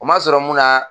O ma sɔrɔ mun na